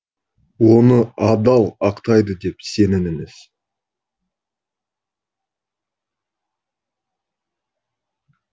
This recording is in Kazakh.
оны адал ақтайды деп сеніміңіз